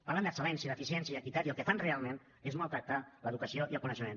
parlen d’excel·lència d’eficiència i d’equitat i el que fan realment és maltractar l’educació i el coneixement